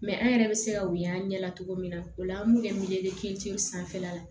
an yɛrɛ bɛ se ka wuli an ɲɛ la togo min na o la an b'u kɛ sanfɛla la